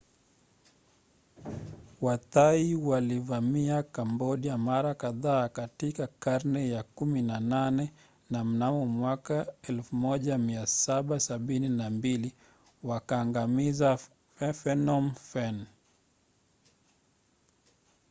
wathai walivamia kambodia mara kadhaa katika karne ya 18 na mnamo 1772 wakaangamiza phnom phen